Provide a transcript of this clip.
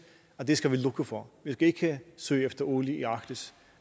at det skal vi lukke for vi skal ikke søge efter olie i arktis